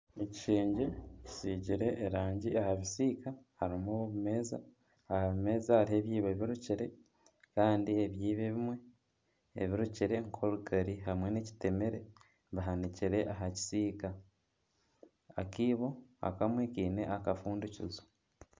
Ekishengye kisiigire erangi aha bisiika harimu obumeeza. Aha meeza hariho ebiibo birukire, kandi ebiibo ebimwe ebirukire nk'orugari hamwe n'ekitemere bihanikire aha kisiika. Akaibo akamwe kaine akafundikizo.